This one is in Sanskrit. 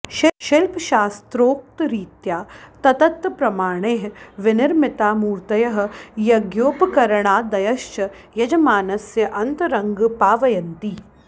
शिल्पशास्त्रोक्तरीत्या तत्तत् प्रमाणैः विनिर्मिताः मूर्तयः यज्ञोपकरणादयश्च यजमानस्य अन्तरङ्गं पावयन्ति